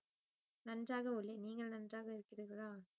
நன்றாக உள்ளேன் நீங்கள் நன்றாக இருக்கிறீர்களா